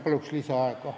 Palun lisaaega!